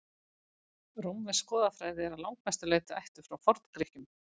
rómversk goðafræði er að langmestu leyti ættuð frá forngrikkjum